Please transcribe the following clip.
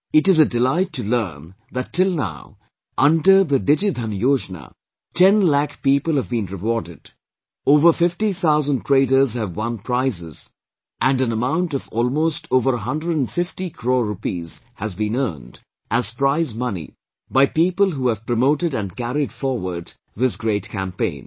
It is a delight to learn that till now, under the DigiDhan Yojana, ten lakh people have been rewarded, over fifty thousand traders have won prizes and an amount of almost over a hundred & fifty crores rupees has been earned as prize money by people who have promoted and carried forward this great campaign